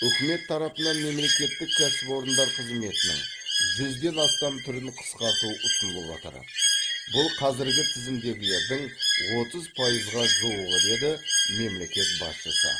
үкімет тарапынан мемлекеттік кәсіпорындар қызметінің жүзден астам түрін қысқарту ұсынылып отыр бұл қазіргі тізімдегілердің отыз пайызға жуығы деді мемлекет басшысы